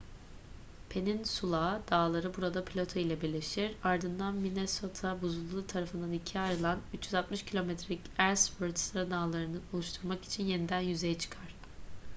peninsula dağları burada plato ile birleşir ardından minnesota buzulu tarafından ikiye ayrılan 360 km'lik ellsworth sıradağlarını oluşturmak için yeniden yüzeye çıkar